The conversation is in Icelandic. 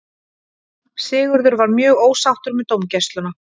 Sigurður var mjög ósáttur með dómgæsluna.